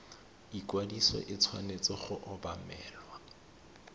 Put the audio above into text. ikwadiso e tshwanetse go obamelwa